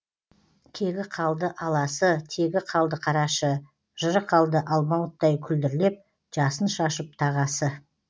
кегі қалды аласы тегі қалды қарашы жыры қалды алмауыттай күлдірлеп жасын шашып тағасы